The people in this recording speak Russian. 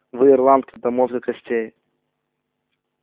вы ирландка до мозга костей